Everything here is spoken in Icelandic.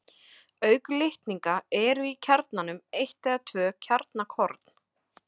Auk litninga eru í kjarnanum eitt eða tvö kjarnakorn.